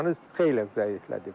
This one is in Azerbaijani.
İranı xeyli zəiflədib.